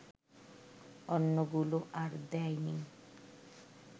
অন্যগুলো আর দেয়নি